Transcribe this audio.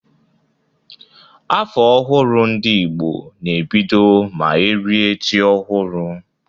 Afọ ọhụrụ ndị Igbo na ebido ma erie ji ọhụrụ.